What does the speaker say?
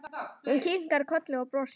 Hún kinkar kolli og brosir.